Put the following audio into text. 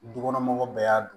Du kɔnɔ mɔgɔw bɛɛ y'a dun